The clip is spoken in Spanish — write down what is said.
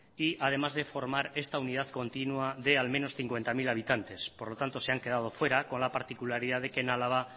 y además de formar esta unidad continua de al menos cincuenta mil habitantes por lo tanto se han quedado fuera con la particularidad de que en álava